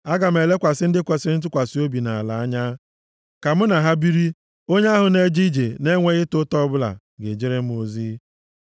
Aga m elekwasị ndị kwesiri ntụkwasị obi nʼala a anya, ka mụ na ha biri; onye ahụ na-eje ije na-enweghị ịta ụta ọbụla ga-ejere m ozi.